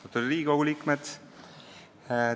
Austatud Riigikogu liikmed!